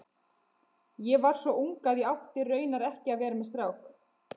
Ég var svo ung að ég átti raunar ekki að vera með strák.